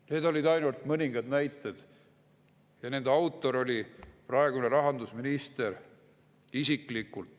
Need on ainult mõningad näited ja nende autor on praegune rahandusminister isiklikult.